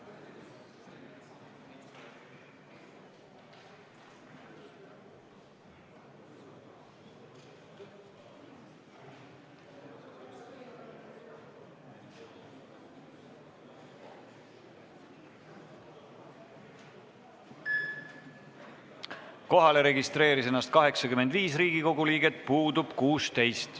Kohaloleku kontroll Kohalolijaks registreeris ennast 85 Riigikogu liiget, puudub 16.